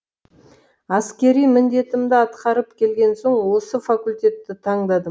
әскери міндетімді атқарып келген соң осы факультетті таңдадым